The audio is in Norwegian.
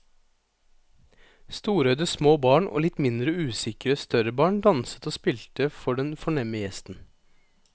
Storøyde små barn og litt mindre usikre større barn danset og spilte for den fornemme gjesten.